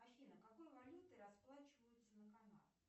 афина какой валютой расплачиваются на канарах